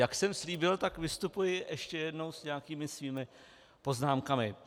Jak jsem slíbil, tak vystupuji ještě jednou s nějakými svými poznámkami.